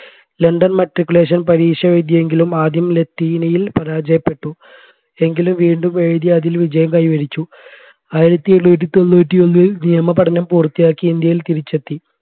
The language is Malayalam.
ലണ്ടൻ matriculation പരീക്ഷ എഴുതിയെങ്കിലും ആദ്യം ലത്തീനയിൽ പരാജയപ്പെട്ടു എങ്കിലും വീണ്ടും എഴുതി അതിൽ വിജയം കൈവരിച്ചു ആയിരത്തി എണ്ണൂറ്റി തൊണ്ണൂറ്റി ഒന്നിൽ നിയമപഠനം പൂർത്തിയാക്കി ഇന്ത്യയിൽ തിരിച്ചെത്തി